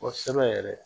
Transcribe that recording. Kɔsɛbɛ yɛrɛ